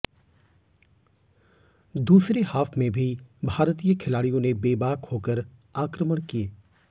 दूसरे हॉफ में भारतीय खिलाड़ियों ने बेबाक होकर आक्रमण किए